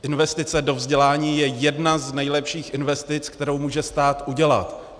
Investice do vzdělání je jedna z nejlepších investic, kterou může stát udělat.